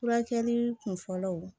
Furakɛli kunfɔlɔw